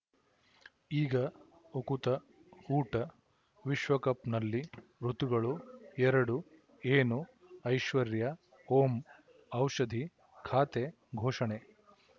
ಈಗ ಉಕುತ ಊಟ ವಿಶ್ವಕಪ್‌ನಲ್ಲಿ ಋತುಗಳು ಎರಡು ಏನು ಐಶ್ವರ್ಯಾ ಓಂ ಔಷಧಿ ಖಾತೆ ಘೋಷಣೆ